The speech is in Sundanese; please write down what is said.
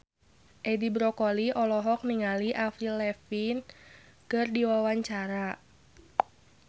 Edi Brokoli olohok ningali Avril Lavigne keur diwawancara